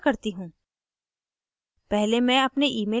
ये जैसा कहे वैसा करती हूँ